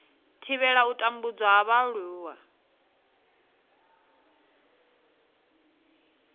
thivhela u tambudzwa ha vhaaluwa